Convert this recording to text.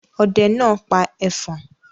Ọdẹ náà pa ẹfọ̀n.